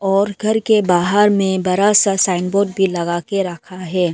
और घर के बाहर में बड़ा सा साइन बोर्ड भी लगा के रखा है।